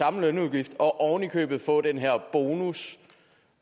samme lønudgift og oven i købet få den her bonus